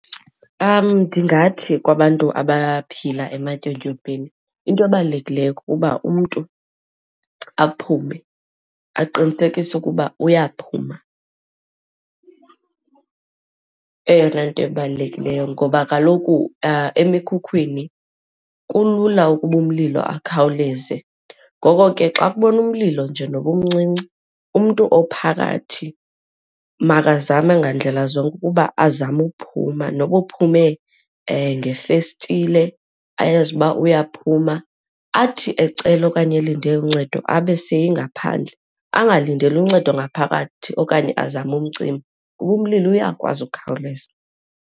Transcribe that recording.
Ndingathi kwabantu abaphila ematyotyombeni into ebalulekileyo kukuba umntu aphume, aqinisekise ukuba uyaphuma eyona nto ibalulekileyo. Ngoba kaloku emkhukwini kulula ukuba umlilo akhawuleze ngoko ke xa kubonwa umlilo nje noba umncinci, umntu ophakathi makazame ngandlela zonke ukuba azame uphuma. Noba uphume ngeefestile, ayazi uba uyaphuma. Athi ecela okanye elinde uncedo abe seyengaphandle, angalindeli uncedo ngaphakathi okanye azame umcima kuba umlilo uyakwazi ukhawuleza.